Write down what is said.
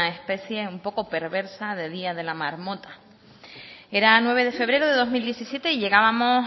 especie un poco perversa de día de la marmota era nueve de febrero de dos mil diecisiete y llegábamos